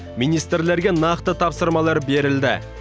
министрлерге нақты тапсырмалар берілді